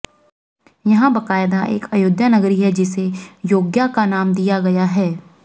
यहां बाकायदा एक अयोध्या नगरी है जिसे योग्या का नाम दिया गया है